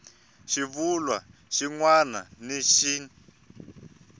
xivulwa xin wana ni xin